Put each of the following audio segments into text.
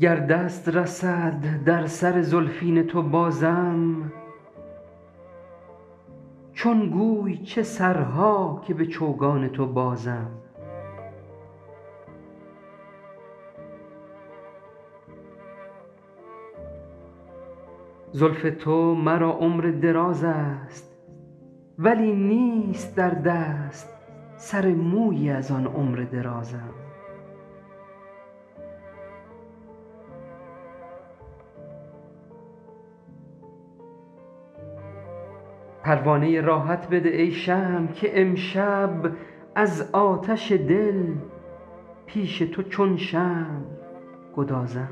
گر دست رسد در سر زلفین تو بازم چون گوی چه سرها که به چوگان تو بازم زلف تو مرا عمر دراز است ولی نیست در دست سر مویی از آن عمر درازم پروانه راحت بده ای شمع که امشب از آتش دل پیش تو چون شمع گدازم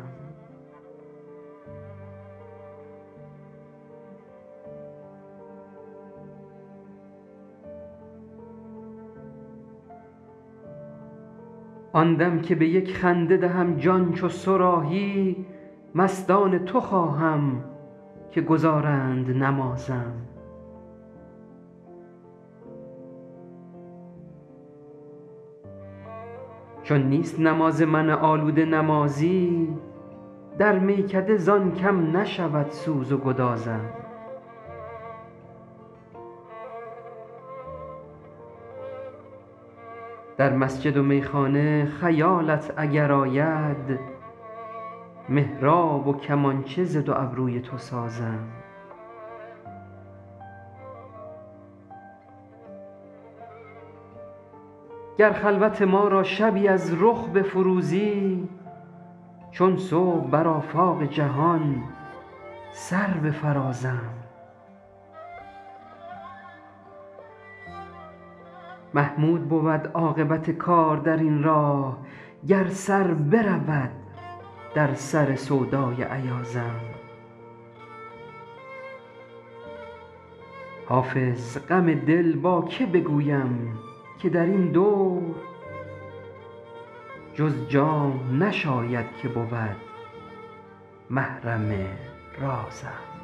آن دم که به یک خنده دهم جان چو صراحی مستان تو خواهم که گزارند نمازم چون نیست نماز من آلوده نمازی در میکده زان کم نشود سوز و گدازم در مسجد و میخانه خیالت اگر آید محراب و کمانچه ز دو ابروی تو سازم گر خلوت ما را شبی از رخ بفروزی چون صبح بر آفاق جهان سر بفرازم محمود بود عاقبت کار در این راه گر سر برود در سر سودای ایازم حافظ غم دل با که بگویم که در این دور جز جام نشاید که بود محرم رازم